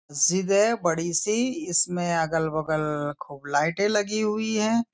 सीधे बड़ी सी इसमें अगल बगल खूब लाइटे लगी हुई हैं।